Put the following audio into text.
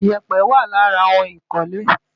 Ìyẹ̀pẹ̀ wà lára ohun ìkọ́lé.